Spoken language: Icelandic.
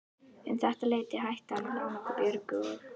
Um þetta leyti hætti hann að lána okkur Björgu og